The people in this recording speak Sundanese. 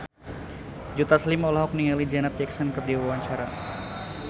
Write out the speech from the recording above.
Joe Taslim olohok ningali Janet Jackson keur diwawancara